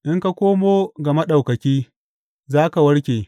In ka komo ga Maɗaukaki, za ka warke.